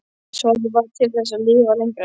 Svarið var: Til þess að lifa lengra.